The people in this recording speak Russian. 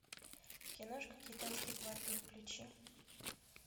киношка китайский квартал включи